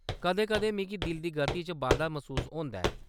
कदें - कदें, मिगी दिल दी गति च बाद्धा मसूस होंदा ऐ।